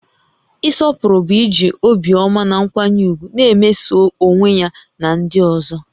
Ịsọpụrụ bụ iji obiọma na nkwanye ùgwù na-emeso onwe ya na ndị ọzọ